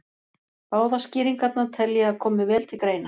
Báðar skýringarnar tel ég að komi vel til greina.